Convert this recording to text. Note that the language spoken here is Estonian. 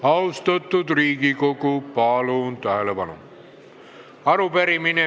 Austatud Riigikogu, palun tähelepanu!